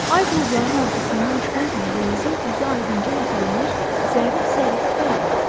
Ay buludların arxasından çıxan kimi dənizin üzü aydınca ləpələnir, zərif-sərif bərq vurur.